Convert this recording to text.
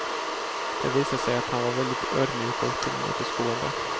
Det visade sig att han var väldigt ödmjuk och tillmötesgående.